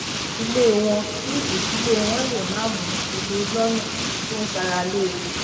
ilé wọn kí ìdílé wọn lè máa mu omi lónà tó ń ṣara lóore